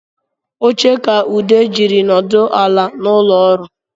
Oche ka Ude jiri nọdụ ala n’ụlọọrụ